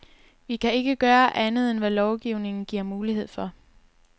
Vi kan ikke gøre andet, end hvad lovgivningen giver mulighed for.